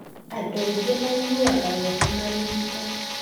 Andũ aingĩ maiguaga wega marigito.